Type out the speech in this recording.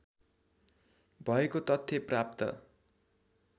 भएको तथ्य प्राप्त